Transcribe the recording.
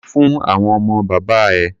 Gbe fún àwọn ọmọ bàbá ẹ!